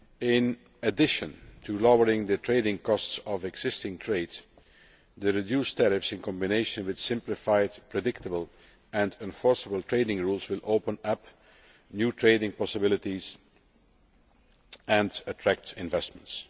In addition to lowering the trading costs of existing trade, the reduced tariffs, in combination with simplified, predictable and enforceable trading rules, will open up new trading possibilities and attract investments.